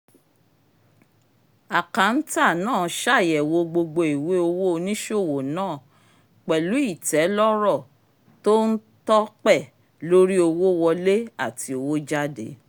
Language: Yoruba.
akántà náà ṣàyẹ̀wò gbogbo ìwé owó oníṣòwò náà pẹ̀lú ìtẹ́lọ́rọ̀ tó ń tọ́pẹ̀ lórí owó wọlé àti owó jáde